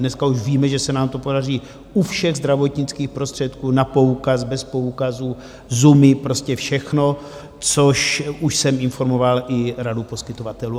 Dneska už víme, že se nám to podaří u všech zdravotnických prostředků na poukaz, bez poukazu ZUMy, prostě všechno, což už jsem informoval i Radu poskytovatelů.